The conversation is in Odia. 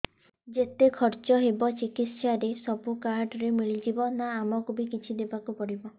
ଯେତେ ଖର୍ଚ ହେବ ଚିକିତ୍ସା ରେ ସବୁ କାର୍ଡ ରେ ମିଳିଯିବ ନା ଆମକୁ ବି କିଛି ଦବାକୁ ପଡିବ